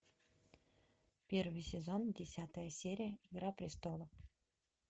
первый сезон десятая серия игра престолов